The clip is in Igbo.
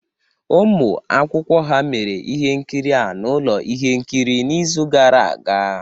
Ụmụ akwụkwọ ha mere ihe nkiri a na ụlọ ihe nkiri n'izu gara aga